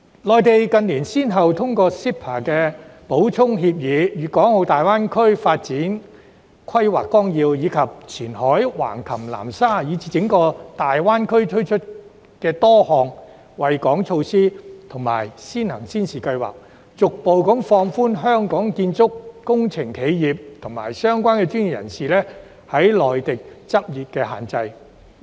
內地近年先後通過 CEPA 的補充協議、《粤港澳大灣區發展規劃綱要》，以及前海、橫琴、南沙，以至整個大灣區推出的多項惠港措施和先行先試計劃，逐步放寬香港建築及工程企業和相關專業人士在內地執業的限制。